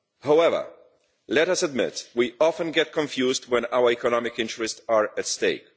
However, let us admit that we often get confused when our economic interests are at stake.